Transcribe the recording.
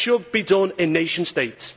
It should be done in nation states.